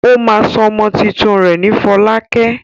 Ó máa sọ ọmọ tuntun rẹ̀ ní Fọlákẹ́.